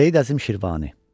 Seyid Əzim Şirvani.